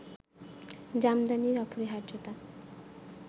জামদানির অপরিহার্যতা